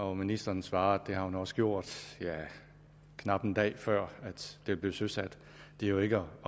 og ministeren svarede det har hun også gjort ja knap en dag før det blev søsat det er jo ikke